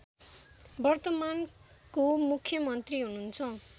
वर्तमानको मुख्यमन्त्री हुनुहुन्छ